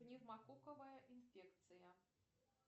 пневмококковая инфекция